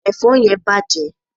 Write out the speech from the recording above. èfó yen bàjé